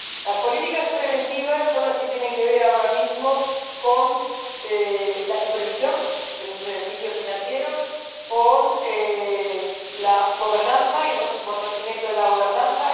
Las políticas preventivas son las que tienen que ver ahora mismo con la supervisión de los servicios financieros, con la gobernanza y el fortalecimiento de la gobernanza.